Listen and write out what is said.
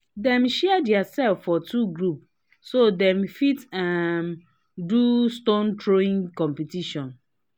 dem share their self for two group so they fit um do stone throwing competition